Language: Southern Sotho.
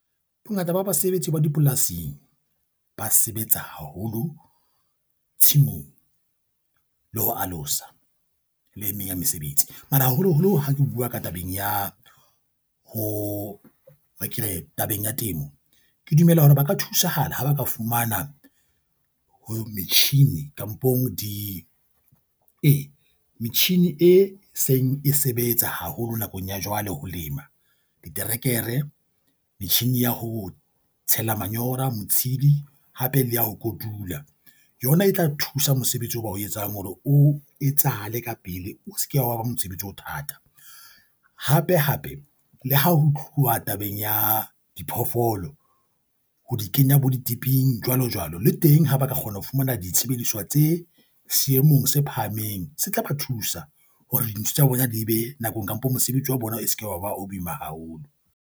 Bongata ba basebetsi ba dipolasing ba sebetsa haholo tshimong le ho alosa le e meng ya mesebetsi. Mara haholoholo ha ke bua ka tabeng ya ho, e re ke re tabeng ya temo, ke dumela hore ba ka thusahala ha ba ka fumana metjhini kampong e metjhini e seng e sebetsa haholo nakong ya jwale ho lema diterekere, metjhini ya ho tshela manyola, motshedi hape le ya ho kotula, yona e tla thusa mosebetsi o ba o etsang hore o etsahale ka pele o se ke wa ba mosebetsi o thata. Hape hape le ha ho tluwa tabeng ya diphoofolo ho di kenya bo ditiping jwalo jwalo le teng ha ba ka kgona ho fumana ditshebediswa tse seemong se phahameng, se tla ba thusa hore dintho tsa bona di be nakong kampo mosebetsi wa bona o seke wa bua o boima haholo.